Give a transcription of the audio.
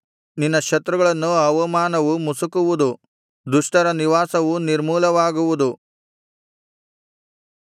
ನಿನ್ನ ಶತ್ರುಗಳನ್ನು ಅವಮಾನವು ಮುಸುಕುವುದು ದುಷ್ಟರ ನಿವಾಸವು ನಿರ್ಮೂಲವಾಗುವುದು